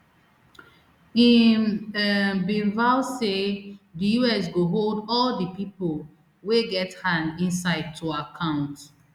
im um bin vow say di us go hold all di pipo wey get hand inside to account